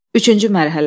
Üçüncü mərhələ.